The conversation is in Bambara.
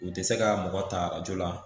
U tɛ se ka mɔgɔ ta arajɔ la.